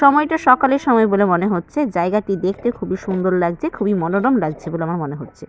সময়টা সকালের সময় বলে মনে হচ্ছে। জায়গাটি দেখতে খুবই সুন্দর লাগছে খুবই মনোরম লাগছে বলে আমার মনে হচ্ছে ।